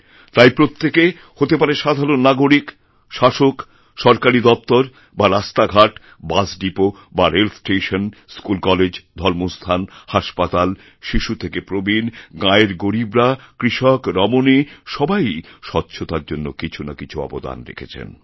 তাই প্রত্যেকে হতে পারে সাধারণনাগরিক শাসক সরকারী দপ্তর বা রাস্তাঘাট বাসডিপো বা রেল স্টেশন স্কুলকলেজধর্মস্থান হাসপাতাল শিশু থেকে প্রবীণ গাঁয়ের গরীবরা কৃষক রমণী সবাইইস্বচ্ছতার জন্য কিছু না কিছু অবদান রেখেছেন